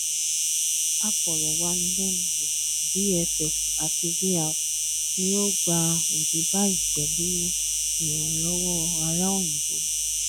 aforo wanilenuwo VFX àti VR ni ó ó gbà òde bayi pelu iranlowo ara oyinbo